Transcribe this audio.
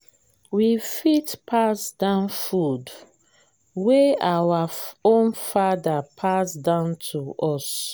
we fit pass down food wey our own father pass down to us